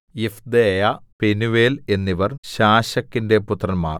Iphdeiah Penuel എന്നിവർ ശാശക്കിന്റെ പുത്രന്മാർ